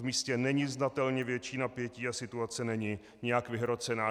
V místě není znatelně větší napětí a situace není nijak vyhrocená.